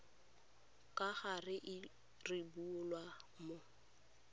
ka gale e rebolwa mo